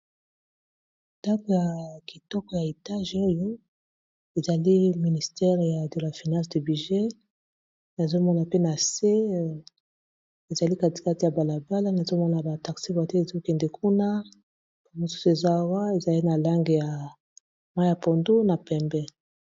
Ndako ya kitoko ya etatge oyo ezali ministere ya dela finance de budget nazomona pe na se ezali katikati ya balabala nazomona ba taxi voiture ezokende kuna ba mosusu ezawa ezali na langi ya mayi ya pondu na pembe.